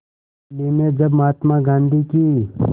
दिल्ली में जब महात्मा गांधी की